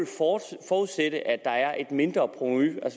der er et mindre provenu